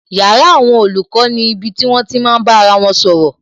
Yàrá àwọn olùkọ́ ni ibi tí wón ti máa bá ara wọn sọ̀rọ̀